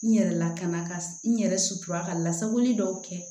N yɛrɛ lakana ka n yɛrɛ sutura ka lasagoli dɔw kɛ